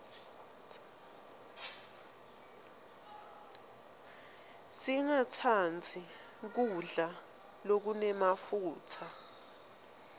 singatsandzi kudla lokunemafutsa